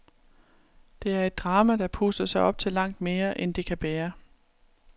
Det er et drama, der puster sig op til langt mere, end det kan bære.